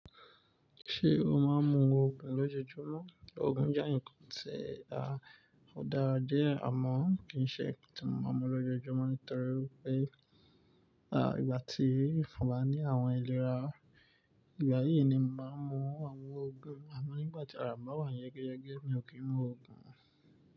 Ṣé o máa ń mu òogùn lójoojúmọ́? Òogùn jẹ́ ǹnkan tí a ò dára díẹ̀, amọ̀, kì í ṣe ǹkan tí mo máa ń mu lójoojúmọ́ nítorí wipé à ìgbà tí mo bá ní àwọn ìlera, ìgbà yìí ni mo máa ń mu àwọn òògùn, àmọ́ ígbà tí ara bà wá yẹ́geyege, mi ò kí ń mu òògùn.